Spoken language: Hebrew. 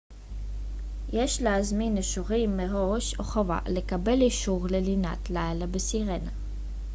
יש להזמין אישורים מראש חובה לקבל אישור ללינת לילה בסירנה